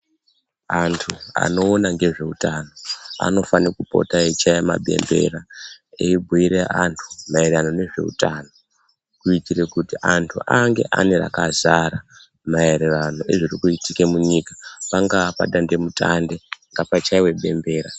Antu anoona ngezve utano anofane kupota eyi chaya ma bembera eyi bhuire antu maererano nezve utano kuitire kuti antu ange ane rakazara maererano nezviri kuitike mu nyika pangaa pa dande mutande ngapa chaiwe bembera.